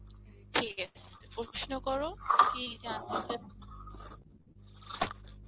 ঠিক আছে প্রশ্ন করো কি জানতে চাও